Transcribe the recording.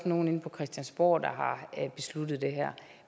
nogle inde på christiansborg der har besluttet det her